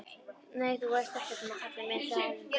Nei, þú veist ekkert um það kallinn minn, sagði Erlendur.